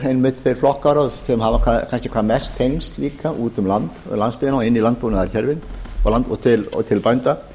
stjórnarandstöðuflokkunum þeir flokkar sem hafa kannski hvað mest tengsl líka út um landsbyggðina og inn í landbúnaðarkerfið og til bænda